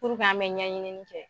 Puruke an bɛ ɲɛɲinini kɛ.